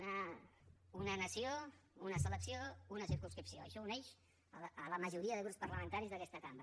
una nació una selecció una circumscripció això uneix la majoria de grups parlamentaris d’aquesta cambra